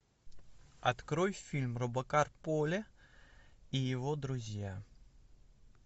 открой фильм робокар поли и его друзья